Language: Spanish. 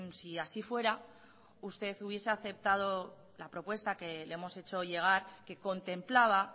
si así fuera usted hubiese aceptado la propuesta que le hemos hecho llegar que contemplaba